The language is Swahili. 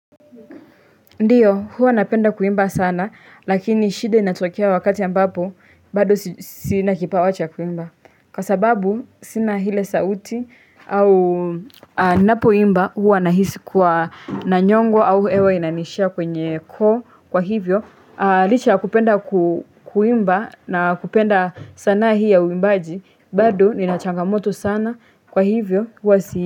Ndiyo huwa napenda kuimba sana lakini shida inatokea wakati ambapo bado sina kipawa cha kuimba Kwa sababu sina ile sauti au ninapoimba huwa nahisi kuwa nanyongwa au hewa inaniishia kwenye koo kwa hivyo Licha ya kupenda kuimba na kupenda sana hii ya uimbaji bado nina changamoto sana kwa hivyo huwa si.